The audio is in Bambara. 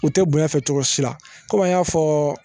U tɛ bonya fɛ cogo si la kɔmi an y'a fɔɔ